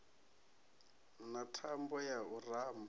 na thambo ya u ramba